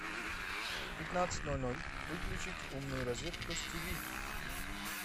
в пятнадцать ноль ноль выключить умную розетку с тиви